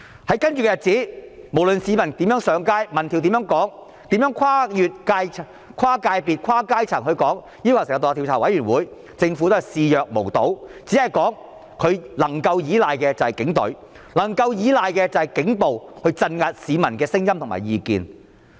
在接着的日子，無論市民如何上街，民調怎樣說，跨界別、跨階層的人士如何要求成立獨立調查委員會，政府也視若無睹，只表示政府能夠依賴的便是警隊，能夠依賴的便是警暴，鎮壓市民的聲音和意見。